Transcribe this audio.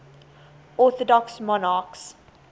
orthodox monarchs